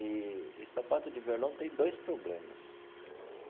Eee e sapato de verlon tem dois problemas.